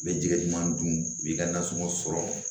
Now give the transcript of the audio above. U bɛ jɛgɛ duman dun u b'i ka nasɔngɔ sɔrɔ